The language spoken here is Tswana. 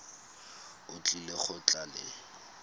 o tlile go tla le